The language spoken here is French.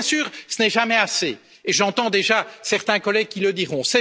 Bien sûr, ce n'est jamais assez j'entends déjà certains collègues qui le diront.